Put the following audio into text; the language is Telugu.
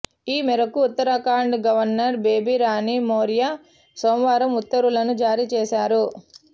ఈ మేరకు ఉత్తరాఖండ్ గవర్నర్ బేబీరాణి మౌర్య సోమవారం ఉత్తర్వులను జారీ చేశారు